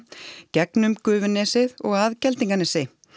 gegnum og að Geldinganesi